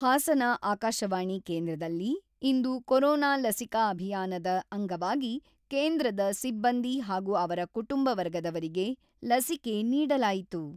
ಹಾಸನ ಆಕಾಶವಾಣಿ ಕೇಂದ್ರದಲ್ಲಿ ಇಂದು ಕೋರೋನಾ ಲಸಿಕಾ ಅಭಿಯಾನದ ಅಂಗವಾಗಿ ಕೇಂದ್ರದ ಸಿಬ್ಬಂದಿ ಹಾಗೂ ಅವರ ಕುಟುಂಬ ವರ್ಗದವರಿಗೆ ಲಸಿಕೆ ನೀಡಲಾಯಿತು.